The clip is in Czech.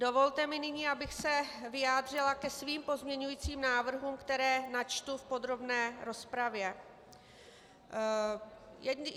Dovolte mi nyní, abych se vyjádřila ke svým pozměňovacím návrhům, které načtu v podrobné rozpravě.